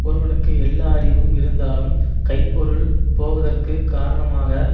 ஒருவனுக்கு எல்லா அறிவும் இருந்தாலும் கைப்பொருள் போவதற்குக் காரணமாக